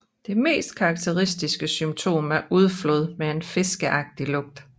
Det mest karakteristiske symptom er udflåd med en fiskeagtig lugt